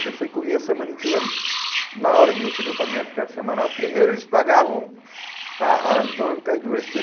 Porque se eu comia a semana inteira, na hora de receber o pagamento, que era semanal, primeiro eles pagavam a as donas do cai duro. Que